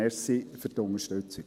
Danke für die Unterstützung.